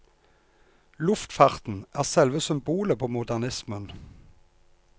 Luftfarten er selve symbolet på modernismen.